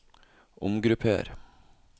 omgrupper